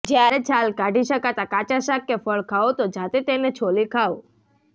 જ્યારે છાલ કાઢી શકાતા કાચા શાક કે ફળ ખાઓ તો જાતે તેને છોલી ખાવ